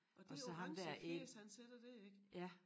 Og det orange fjæs han sætter dér ik